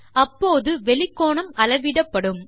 அப்போது வெளிக் கோணம் அளவிடப்படும்